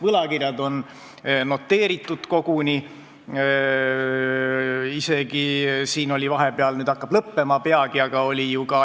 Võlakirjad on koguni noteeritud.